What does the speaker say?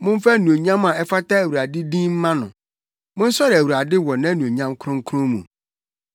Momfa anuonyam a ɛfata Awurade din mma no; monsɔre Awurade wɔ nʼanuonyam kronkron mu.